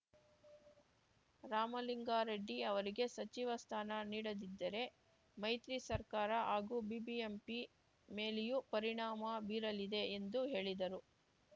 ರಾಮಲಿಂಗಾರೆಡ್ಡಿ ಅವರಿಗೆ ಸಚಿವ ಸ್ಥಾನ ನೀಡದಿದ್ದರೆ ಮೈತ್ರಿ ಸರ್ಕಾರ ಹಾಗೂ ಬಿಬಿಎಂಪಿ ಮೇಲೆಯೂ ಪರಿಣಾಮ ಬೀರಲಿದೆ ಎಂದು ಹೇಳಿದರು